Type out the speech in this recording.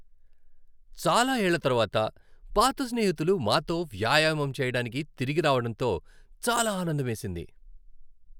చాలా ఏళ్ళ తరువాత పాత స్నేహితులు మాతో వ్యాయామం చేయడానికి తిరిగి రావడంతో చాలా ఆనందమేసింది.